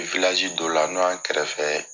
I dɔ la n'o yan kɛrɛfɛ